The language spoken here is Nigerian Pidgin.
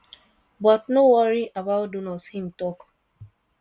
"but no worry about donors" im tok.